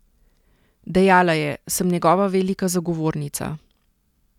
Dejala je: 'Sem njegova velika zagovornica.